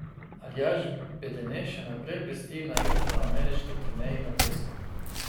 Aljaž Bedene še naprej blesti na južnoameriški turneji na pesku.